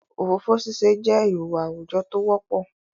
ofofo sise je ihuwa awujo t'o wopo